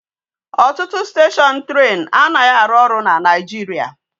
Otutu station train anaghi aru oru na naijiria